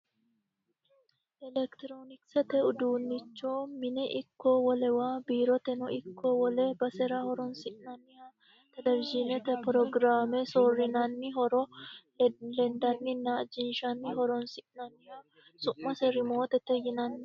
elekitiroonikisete uduunnicho mine ikko wolewa biiroteno ikko wole basera horonsi'nanniha televizhiinete pirogiraame soorrinanni huuro lendanninna ajinshanni horonsi'nanniho su'mase remootete yinanni